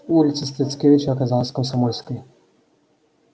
улица стыцкевича оказалась комсомольской